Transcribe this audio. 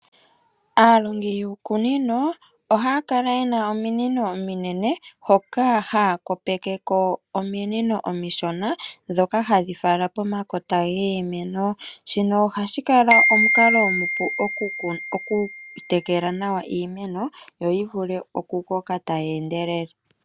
Aalongi yuukunino, oha kala yena omiinino ominene, hoka hakopekeko omiinino omishona, dhoka hadhifala pomakota ngiimeno , shino ohashikala omunkalo omupu oku tekela nawa iimeno, yo yivule okukoka tayendelele.